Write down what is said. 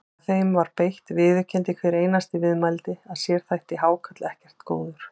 Þegar þeim var beitt viðurkenndi hver einasti viðmælandi að sér þætti hákarl ekkert góður.